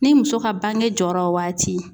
Ni muso ka bange jɔra o waati